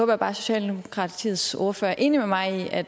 jeg bare at socialdemokratiets ordfører er enig med mig i at